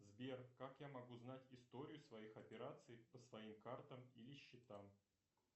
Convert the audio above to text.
сбер как я могу знать историю своих операций по своим картам или счетам